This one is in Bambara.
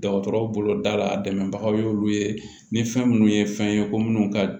Dɔgɔtɔrɔw bolo da la a dɛmɛbagaw ye olu ye ni fɛn minnu ye fɛn ye ko minnu ka